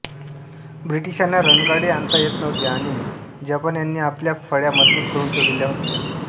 ब्रिटिशांना रणगाडे आणता येत न्वहते आणि जपान्यांनी आपल्या फळ्या मजबूत करून ठेवलेल्या होत्या